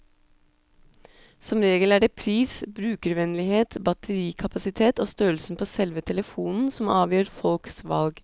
Som regel er det pris, brukervennlighet, batterikapasitet og størrelsen på selve telefonen som avgjør folks valg.